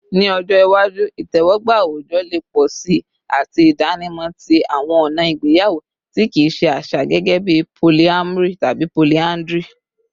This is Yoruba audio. Ni ọjọ iwaju, itẹwọgba awujọ le pọ si ati idanimọ ti awọn ọna igbeyawo ti kii ṣe aṣa, gẹgẹbi polyamory tabi polyandry